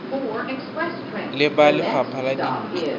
le ba lefapha la dintlo